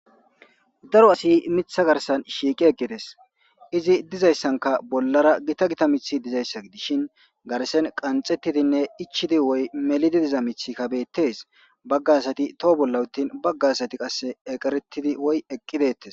Dark asiy mitha garsan shiiqi eqides , izibdizaysanka bollara gita gita mithiy dizaysa gidishn garden qanxetidinne ichid woy melidi diza mithiyka betes, baga asati to bolla utin baga asati eqeretid woy eqi detes